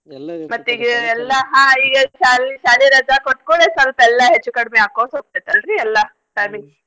ಎಲ್ಲಾ ಹಾ ಈಗ ಶಾಲಿ~ ಶಾಲಿ ರಜಾ ಕೊಟ್ಟ್ಕೂಡ್ಲೇ ಸಲ್ಪ ಎಲ್ಲಾ ಹೆಚ್ಚು ಕಡ್ಮಿ ಆಕೋತ್ತ ಹೋಗ್ತದ್ ಅಲ್ರೀ ಎಲ್ಲಾ timings .